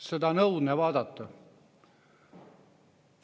Seda on õudne vaadata.